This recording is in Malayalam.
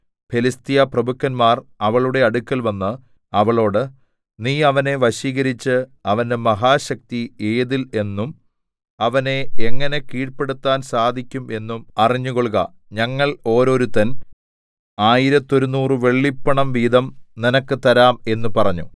ഫെലിസ്ത്യ പ്രഭുക്കന്മാർ അവളുടെ അടുക്കൽവന്ന് അവളോട് നീ അവനെ വശീകരിച്ച് അവന്റെ മഹാശക്തി ഏതിൽ എന്നും അവനെ എങ്ങനെ കീഴ്പെടുത്താൻ സാധിക്കും എന്നും അറിഞ്ഞുകൊൾക ഞങ്ങൾ ഓരോരുത്തൻ ആയിരത്തൊരുനൂറ് വെള്ളിപ്പണം വീതം നിനക്ക് തരാം എന്ന് പറഞ്ഞു